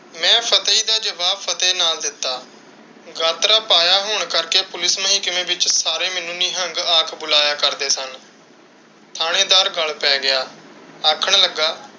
ਮੈਂ ਫਤਿਹ ਦਾ ਜਵਾਬ ਫਤਿਹ ਨਾਲ ਦਿੱਤਾ। ਗਾਤਰਾ ਪਾਇਆ ਹੋਣ ਕਰਕੇ ਪੁਲਿਸ ਮਹਿਕਮੇ ਵਿੱਚ ਸਾਰੇ ਮੈਨੂੰ ਨਿਹੰਗ ਆਖ ਬੁਲਾਇਆ ਕਰਦੇ ਸਨ। ਥਾਣੇਦਾਰ ਗੱਲ ਪੈ ਗਿਆ। ਆਖਣ ਲੱਗਾ,